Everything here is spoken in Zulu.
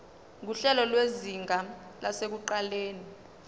nguhlelo lwezinga lasekuqaleni